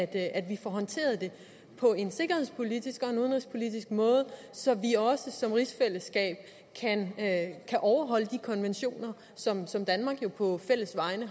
at vi får håndteret det på en sikkerhedspolitisk og udenrigspolitisk måde så vi også som rigsfællesskab kan overholde de konventioner som som danmark jo på vegne